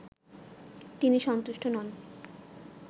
তিনি সন্তুষ্ট নন